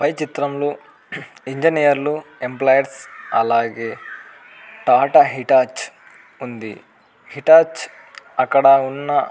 పై చిత్రంలో engineers employees అలాగే Tata Hitachi ఉంది హిటాచ్ అక్కడ వున్న --